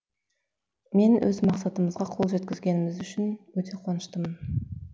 мен өз мақсатымызға қол жеткізгеніміз үшін өте қуаныштымын